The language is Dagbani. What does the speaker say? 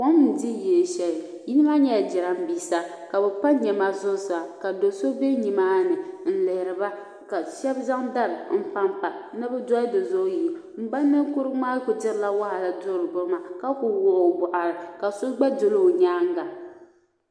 kom n di yili shɛli yili maa nyɛla jiramisa kabi pa nɛma zuɣusaa ka do so be nimaa ni n lihiriba ka shɛb zaŋ dari n panpa ni bi doli dizuɣu yi n ba ninkurugu maa ku dirila wahala duri bin maa ka ku wuɣi o nuhi ka so gba doli o nyaan ga.